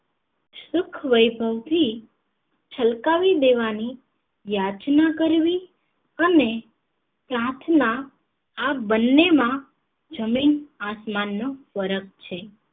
સુખ વૈભવ થી છલકાવી દેવાની યાચના કરવી અને પ્રાર્થના આ બંને માં જમીન આસમાન નો ફર્ક છે